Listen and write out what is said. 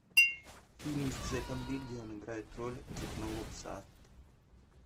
фильм с джетом ли где он играет роль цепного пса